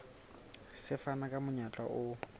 se fana ka monyetla o